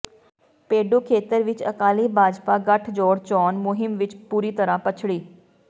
ਪੇਡੂ ਖੇਤਰ ਵਿੱਚ ਅਕਾਲੀ ਭਾਜਪਾ ਗਠਜੋੜ ਚੋਣ ਮੁਹਿੰਮ ਵਿੱਚ ਬੁਰੀ ਤਰਾਂ ਪਛੜੀ